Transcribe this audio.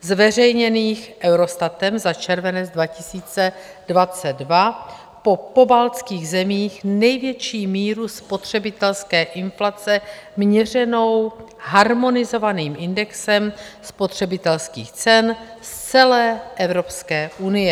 zveřejněných Eurostatem za červenec 2022 po pobaltských zemích největší míru spotřebitelské inflace měřenou harmonizovaným indexem spotřebitelských cen z celé Evropské unie.